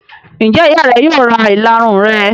Ṣé ìyá rẹ yóò ra ìlarun rẹ?